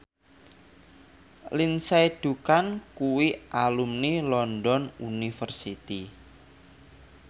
Lindsay Ducan kuwi alumni London University